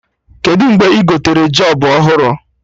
Kedụ mgbe ị gotere jop ọhụrụ?